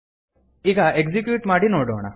ಈಗ ಎಕ್ಸಿಕ್ಯೂಟ್ ಮಾಡಿ ನೋಡೋಣ